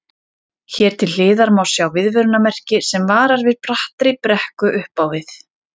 Hér til hliðar má sjá viðvörunarmerki sem varar við brattri brekku upp á við.